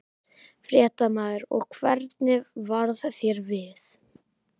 Fréttamaður: Og hvernig varð þér við?